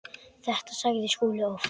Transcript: Þetta sagði Skúli oft.